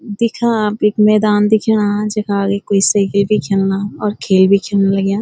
दिख्या आप ऐक मैदान दिख्यां जखा एक कुई सेकिल बि खेलना और खेल बि खिलन लग्यां।